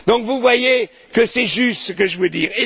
plus. Donc vous voyez que c'est juste ce que je vous